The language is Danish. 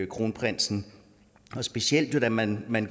kronprinsen specielt kan man man